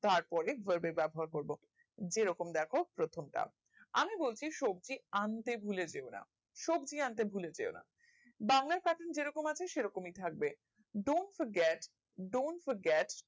তারপরে word এর ব্যাবহার করবো যে রকম দ্যাখো প্রথম টার আমি বলছি সবজি আন্তে ভুলে যেওনা সবজি আন্তে ভুলে যেকনা বাংলার Pattern যেরকম আছে সেরকম থাকবে don't forget don't forget